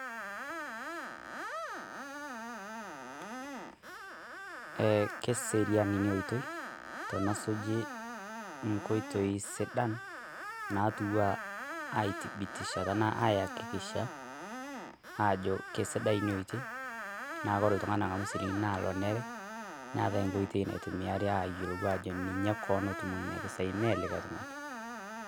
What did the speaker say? Eeh keserian enia oitoi kaas ojo nkweitoi sidaan atua aitibitishaa taana ayaakikisha ajo kesidai enia otoi naa ore iltung'ani ang'amu silingini naa loneere neeta nkoitoi natumiare ajo ninye koon otumoo nenia mpisai mee likai iltung'ani.